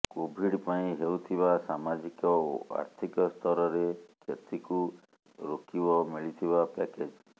Covid ପାଇଁ ହେଉଥିବା ସାମାଜିକ ଓ ଆର୍ଥିକ ସ୍ତରରେ କ୍ଷତିକୁ ରୋକିବ ମିଳିଥିବା ପ୍ୟାକେଜ୍